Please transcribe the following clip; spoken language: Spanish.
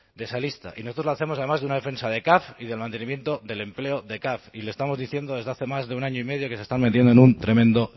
de esa lista y nosotros lo hacemos además de una defensa de caf y del mantenimiento del empleo de caf y le estamos diciendo desde hace más de un año y medio que se están metiendo en un tremendo